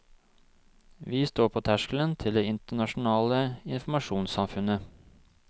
Vi står på terskelen til det internasjonale informasjonssamfunnet.